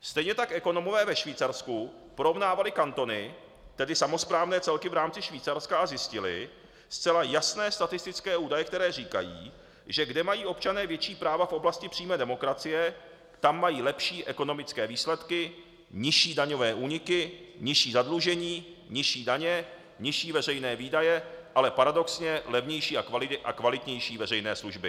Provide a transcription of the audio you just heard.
Stejně tak ekonomové ve Švýcarsku porovnávali kantony, tedy samosprávné celky v rámci Švýcarska, a zjistili zcela jasné statistické údaje, které říkají, že kde mají občané větší práva v oblasti přímé demokracie, tak mají lepší ekonomické výsledky, nižší daňové úniky, nižší zadlužení, nižší daně, nižší veřejné výdaje, ale paradoxně levnější a kvalitnější veřejné služby.